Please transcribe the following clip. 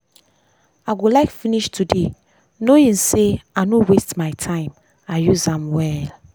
i go like finish today knowing sey i no waste my time i use am well.